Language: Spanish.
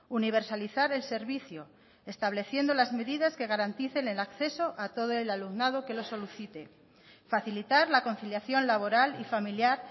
universalizar el servicio estableciendo las medidas que garanticen el acceso a todo el alumnado que lo solicite facilitar la conciliación laboral y familiar